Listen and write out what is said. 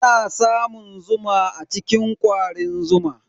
Ana samun zuma a cikin kwarin zuma.